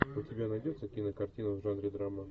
у тебя найдется кинокартина в жанре драма